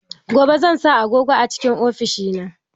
Gobe zan sa agogo a cikn ofishina.